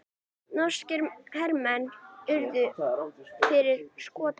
Norskir hermenn urðu fyrir skotum